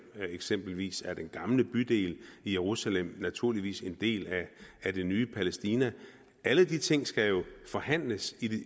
eksempelvis er den gamle bydel i jerusalem naturligvis en del af det nye palæstina alle de ting skal forhandles